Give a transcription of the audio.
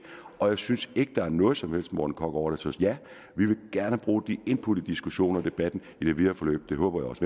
og jeg synes ikke at der er noget som helst morten korch over det så ja vi vil gerne bruge de input i diskussioner og debatten i det videre forløb og det håber jeg også